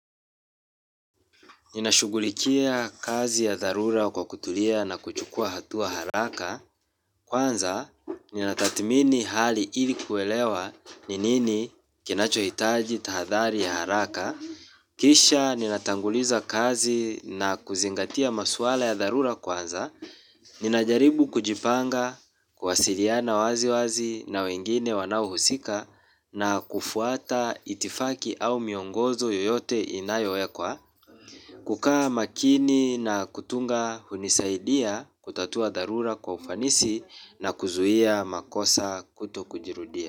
Ninashugulikia kazi ya dharura kwa kutulia na kuchukua hatua haraka. Kwanza, ninatathmini hali ili kuelewa ni nini kinachohitaji tahadhari ya haraka. Kisha, ninatanguliza kazi na kuzingatia maswala ya dharura kwanza. Ninajaribu kujipanga, kuwasiliana wazi wazi na wengine wanaohusika na kufuata itifaki au miongozo yoyote inayoekwa. Kukaa makini na kutunga hunisaidia kutatua dharura kwa ufanisi na kuzuia makosa kuto kujirudia.